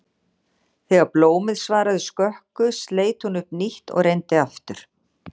Þegar blómið svaraði skökku sleit hún upp nýtt og reyndi aftur.